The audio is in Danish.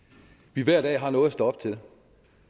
vi hver dag har noget at stå op til